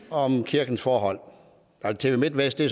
om kirkens forhold tv midtvest er